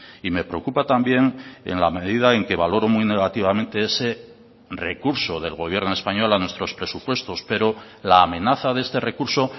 y me preocupa también en la medida en que valoro muy negativamente ese recurso del gobierno español a nuestros presupuestos pero la amenaza de este recurso